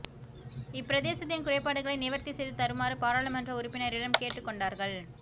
இப்பிரதேசத்தின் குறைபாடுகளை நிவர்த்தி செய்து தருமாறு பாராளுமன்ற உறுப்பினரிடம் கேட்டுக் கொண்டார்கள்